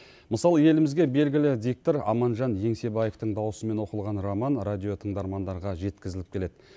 мысалы елімізге белгілі диктор аманжан еңсебаевтың даусымен оқылған роман радиотыңдармандарға жеткізіліп келеді